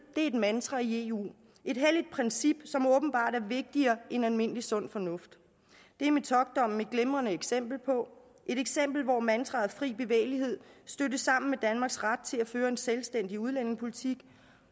et mantra i eu et helligt princip som åbenbart er vigtigere end almindelig sund fornuft det er metockdommen et glimrende eksempel på et eksempel hvor mantraet om fri bevægelighed stødte sammen med danmarks ret til at føre en selvstændig udlændingepolitik